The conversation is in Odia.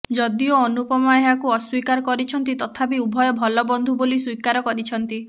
ଯଦିଓ ଅନୁପମା ଏହାକୁ ଅସ୍ବୀକାର କରିଛନ୍ତି ତଥାପି ଉଭୟ ଭଲ ବନ୍ଧୁ ବୋଲି ସ୍ବୀକାର କରିଛନ୍ତି